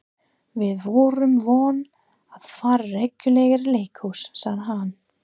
Við vorum vön að fara reglulega í leikhús, sagði hann.